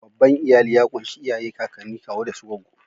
Babban iyali ya kunshi iyaye, kakanni, kawo da su gwaggo.